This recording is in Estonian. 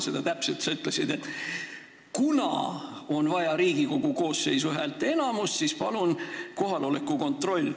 Sa ütlesid, et kuna on vaja Riigikogu koosseisu häälteenamust, siis palun teeme kohaloleku kontrolli.